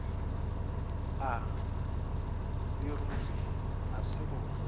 a leruri a se go